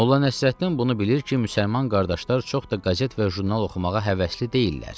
Molla Nəsrəddin bunu bilir ki, müsəlman qardaşlar çox da qəzet və jurnal oxumağa həvəsli deyillər.